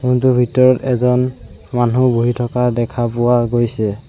Room টোৰ ভিতৰত এজন মানুহ বহি থকা দেখা পোৱা গৈছে।